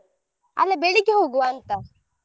ಅಲ್ಲಾ ಬೆಳ್ಳಿಗ್ಗೆ ಹೋಗುವಂತಾ.